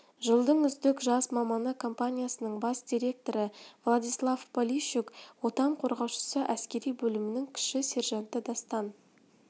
жылдың үздік жас маманы компаниясының бас директоры владислав полищук отан қорғаушысы әскери бөлімнің кіші сержанты дастан